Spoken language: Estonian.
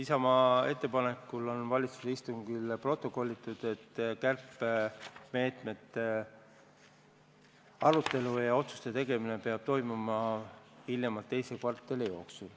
Isamaa ettepanekul on valitsuse istungil protokollitud, et kärpemeetmete arutelu ja otsuste tegemine peab toimuma hiljemalt teise kvartali jooksul.